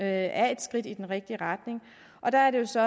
er et skridt i den rigtige retning og der er det jo så